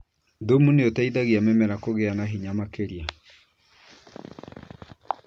Thumu nĩ ũteithagia mĩmera kũgĩa na hinya makĩria.